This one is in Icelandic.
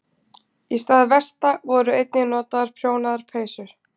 Í stað vesta voru einnig notaðar prjónaðar peysur.